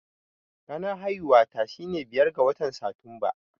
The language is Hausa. Ranar haihuwata shine biyar ga watan Satumba.